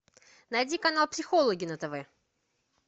найди канал психологи на тв